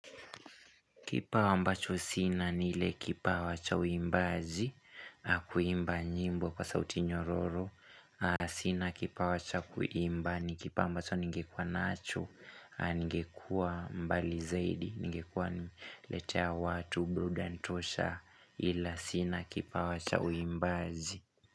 Kipawa ambacho sina ni ile kipawa cha uimbaji, kuimba nyimbo kwa sauti nyororo. Sina kipawa cha kuimba ni kipawa ambacho ningekuwa nacho, ningekuwa mbali zaidi, ningekuwa letea watu, burudani tosha ila sina kipawa cha uimbaji.